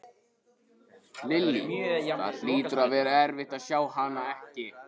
Lillý: Það hlýtur að vera erfitt að sjá hana ekki?